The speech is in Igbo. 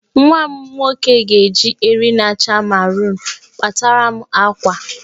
Nwa m nwoke ga-eji eriri na-acha marunu kpataram àkwá